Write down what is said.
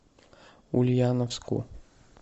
ульяновску